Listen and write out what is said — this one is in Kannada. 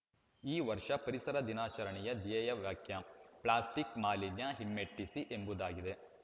ಈ ವರ್ಷದ ಪರಿಸರ ದಿನಾಚರಣೆಯ ಧ್ಯೇಯ ವ್ಯಕ್ಯ ಪ್ಲಾಸ್ಟಿಕ್‌ ಮಾಲಿನ್ಯ ಹಿಮ್ಮೆಟ್ಟಿಸಿ ಎಂಬುದಾಗಿದೆ